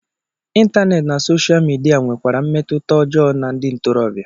Ịntaneetị na sosha midia nwekwara mmetụta ọjọọ na ndị ntorobịa